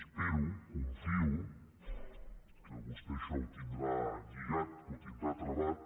espero confio que vostè això ho tindrà lligat que ho tindrà travat